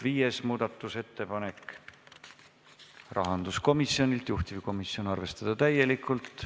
Viies muudatusettepanek, rahanduskomisjonilt, juhtivkomisjon: arvestada täielikult.